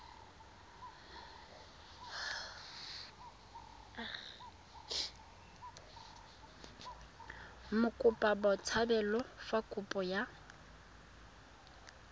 mokopa botshabelo fa kopo ya